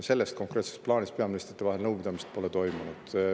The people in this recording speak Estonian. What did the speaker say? Selle konkreetse plaani üle nõupidamist peaministrite vahel pole toimunud.